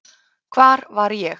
Hvar var ég?